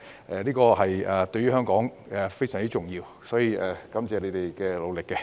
然而，《條例草案》對於香港非常重要，因此，我很感謝他們的努力。